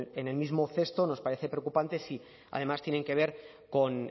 en el mismo cesto nos parece preocupante si además tienen que ver con